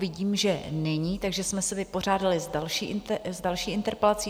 Vidím, že není, takže jsme se vypořádali s další interpelací.